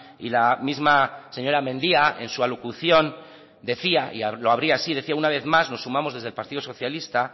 y la misma señora mendia en su alocución decía y lo habría así decía una vez más nos sumamos desde el partido socialista